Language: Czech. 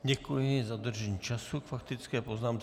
Děkuji za dodržení času k faktické poznámce.